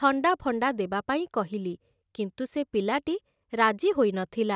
ଥଣ୍ଡା ଫଣ୍ଡା ଦେବା ପାଇଁ କହିଲି କିନ୍ତୁ ସେ ପିଲାଟି ରାଜି ହୋଇନଥିଲା ।